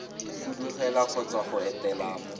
fudugela kgotsa go etela mo